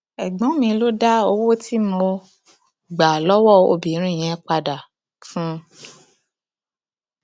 ẹgbọn mi ló dá owó tí mo um gbà lọwọ obìnrin yẹn padà um fún un